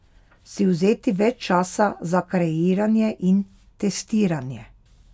Si vzeti več časa za kreiranje in testiranje?